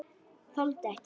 Þoldi ekki.